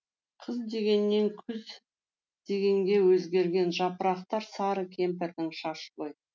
қыз дегеннен күз дегенге өзгерген жапырақтар сары кемпірдің шашы ғой